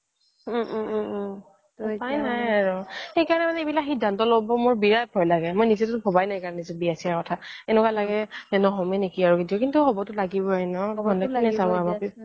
উম উম উম উম উপায় নাই আৰু মোৰ সেইকাৰণে দন্দ লম্ব বোৰ মোৰ বিৰাত ভয় লাগে মই সেই কাৰণে ভবাই নাই বিয়া ছিয়া কথা এনেকুৱা লগে নহমে নেকি আৰু কিন্তু হবটো লাগিবই ন